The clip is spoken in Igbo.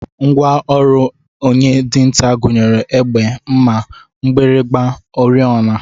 Ngwa ọrụ onye dinta gụnyere egbe, mma, mgbịrịgba, oriọna